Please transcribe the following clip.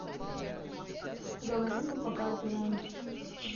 говорим и показываем